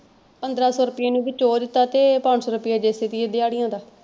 ਪੰਦਰਾਂ ਸੋ ਰੁਪਇਆ ਇਹਨੂੰ ਵਿੱਚੋ ਉਹ ਦਿੱਤਾ ਤੇ ਪੰਜ ਸੋ ਰੁਪਇਆ ਦਿਹਾੜਿਆਂ ਦਾ।